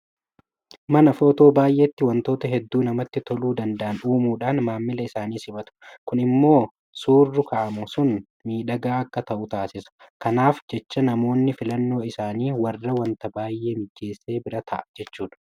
Mana Footoo baay'eetti waantota hedduu namatti toluu danda'an uumuudhaan maamila isaanii simatu. Kun immoo suurru ka'amu sun miidhagaa akka ta'u taasisa. Kanaaf jecha namoonni filannoo isaanii warra waanta baay'ee mijeesse bira ta'a jechuudha.